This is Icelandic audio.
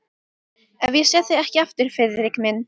Ef ég sé þig ekki aftur, Friðrik minn.